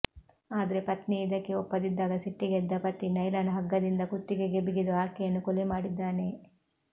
ಆದ್ರೆ ಪತ್ನಿ ಇದಕ್ಕೆ ಒಪ್ಪದಿದ್ದಾಗ ಸಿಟ್ಟಿಗೆದ್ದ ಪತಿ ನೈಲಾನ್ ಹಗ್ಗದಿಂದ ಕುತ್ತಿಗೆಗೆ ಬಿಗಿದು ಆಕೆಯನ್ನು ಕೊಲೆ ಮಾಡಿದ್ದಾನೆ